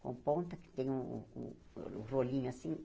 Com ponta, que tem um um um rolinho assim.